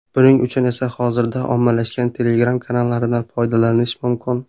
Buning uchun esa hozirda ommalashgan Telegram kanallaridan foydalanish mumkin.